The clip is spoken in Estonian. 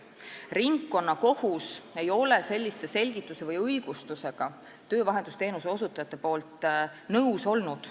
Ringkonnakohus ei ole olnud töövahendusteenuse osutajate sellise selgituse või õigustusega nõus.